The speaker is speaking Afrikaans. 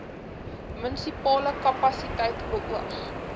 munisipale kapasiteit beoog